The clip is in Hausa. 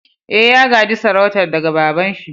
Eh, ya ga'je sarautan daga baba'n shi.